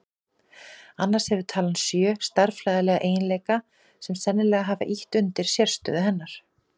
Annars hefur talan sjö stærðfræðilega eiginleika sem sennilega hafa ýtt undir sérstöðu hennar.